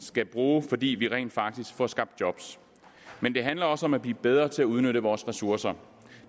skal bruge fordi vi rent faktisk får skabt job men det handler også om at blive bedre til at udnytte vores ressourcer